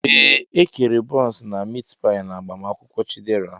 Ee, E kere bọns na mit pai n'agbamakwụkwọ Chidera.